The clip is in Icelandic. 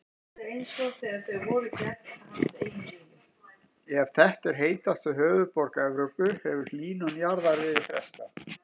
Ef þetta er heitasta höfuðborg Evrópu hefur hlýnun jarðar verið frestað.